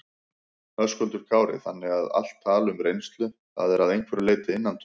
Höskuldur Kári: Þannig að allt tal um reynslu, það er að einhverju leyti innantómt?